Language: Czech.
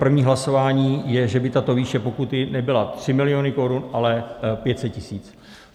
První hlasování je, že by tato výše pokuty nebyla 3 miliony korun, ale 500 tisíc.